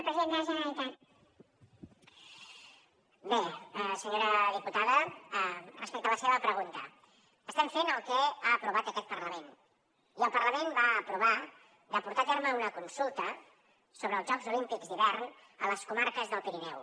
bé senyora diputada respecte a la seva pregunta estem fent el que ha aprovat aquest parlament i el parlament va aprovar de portar a terme una consulta sobre els jocs olímpics d’hivern a les comarques del pirineu